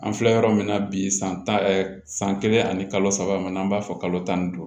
An filɛ yɔrɔ min na bi san tan san kelen ani kalo saba n'an b'a fɔ kalo tan ni duuru